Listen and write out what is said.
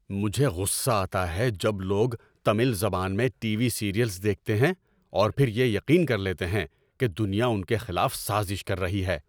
مجھے غصہ آتا ہے جب لوگ تمل زبان میں ٹی وی سیریئلز دیکھتے ہیں اور پھر یقین کر لیتے ہیں کہ دنیا ان کے خلاف سازش کر رہی ہے۔